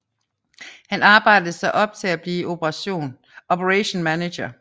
Han arbejdede sig op til at blive operation manager